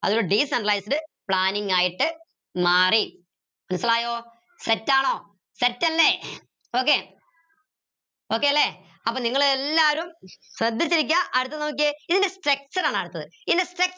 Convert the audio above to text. decentralized planning ആയിട്ട് മാറി മനസിലായോ set ആണോ set അല്ലേ okay okay അല്ലേ അപ്പൊ നിങ്ങള് എല്ലാരും ശ്രദ്ധിച്ചിരിക്ക അടുത്ത നോക്കിയേ ഇതിന്റെ structure ആണ് അടുത്തത് ഇതിന്റെ